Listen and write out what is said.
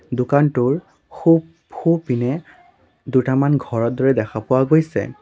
দোকানটোৰ সোঁ সোঁপিনে দুটামান ঘৰৰ দৰে দেখা পোৱা গৈছে।